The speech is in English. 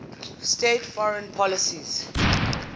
states foreign policy